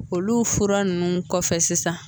Olu fura ninnu kɔfɛ sisan.